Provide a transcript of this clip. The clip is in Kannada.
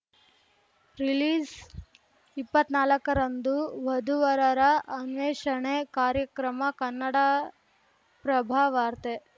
ರಿಲೀಜ್‌ ಇಪ್ಪತ್ನಾಲ್ಕರಂದು ವಧುವರರ ಅನ್ವೇಷಣೆ ಕಾರ್ಯಕ್ರಮ ಕನ್ನಡಪ್ರಭ ವಾರ್ತೆ